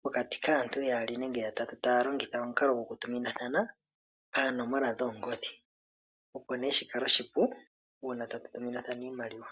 pokati kaantu yaali nenge ya tatu. Taya longitha omukalo gokutuminathana panomola dhongodhi, opo nee shi kale oshipu uuna ta tu tuminathana iimaliwa.